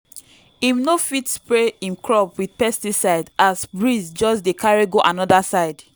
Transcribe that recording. im no fit spray him crop with pesticide as breeze just dey carry go another side.